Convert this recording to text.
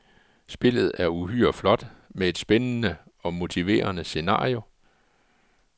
Spillet er uhyre flot, med et spændende og motiverende scenario.